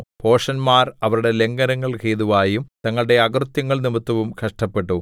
ഭോഷന്മാർ അവരുടെ ലംഘനങ്ങൾ ഹേതുവായും തങ്ങളുടെ അകൃത്യങ്ങൾനിമിത്തവും കഷ്ടപ്പെട്ടു